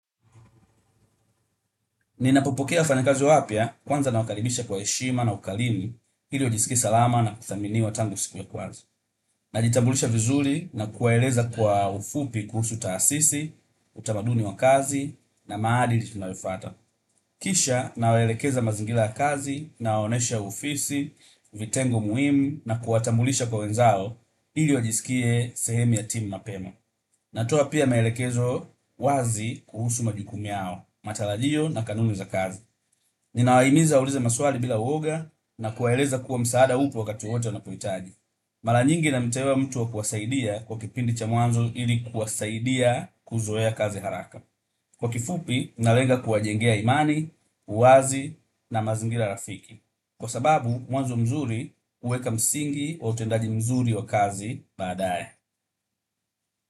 Ninapopokea wafanyakazi wapya kwanza nawakaribisha kwa heshima na ukarimu ili wajisikie salama na kuthaminiwa tangu siku ya kwanza. Najitambulisha vizuri na kuwaeleza kwa ufupi kuhusu taasisi, utamaduni wa kazi na maadili tunayofuata. Kisha nawalekeza mazingira ya kazi nawaonyesha ofisi, vitengo muhimu na kuwatambulisha kwa wenzao ili wajisikie sehemu ya timu mapema. Natoa pia maelekezo wazi kuhusu majukumu yao, matarajio na kanuni za kazi. Ninawahimiza waulize maswali bila woga na kuwaeleza kuwa msaada upo wakati wowote wanapohitaji. Mara nyingi namteua mtu wa kuwasaidia kwa kipindi cha mwanzo ili kuwasaidia kuzoea kazi haraka. Kwa kifupi, nalenga kuwajengea imani, uwazi na mazingira rafiki. Kwa sababu, mwanzo mzuri huweka msingi wa utendaji mzuri wa kazi badaye.